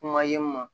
Kuma ye n ma